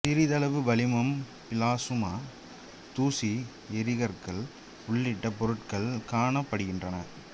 சிறிதளவு வளிமம் பிளாசுமா தூசி எரிகற்கள் உள்ளிட்ட பொருட்கள் காணப்படுகின்றன